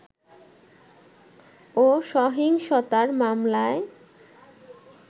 ও সহিংসতার মামলায়